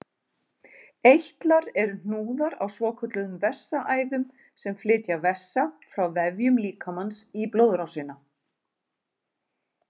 Eitlar eru hnúðar á svokölluðum vessaæðum sem flytja vessa frá vefjum líkamans í blóðrásina.